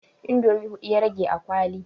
Indomi hudu ya rage a kwali